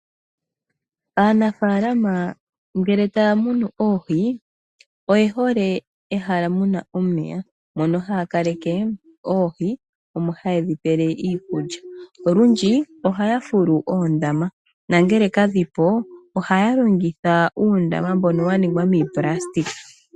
Aanafalama ngele taya munu oohi oye hole ehala mu na omeya mono haya kaleke oohi mpono tedhi pele iikulya. Olwindji ohaya fulu oondama nangele kadhi po ihaya longitha uundama mbono wa ningwa miipulastika.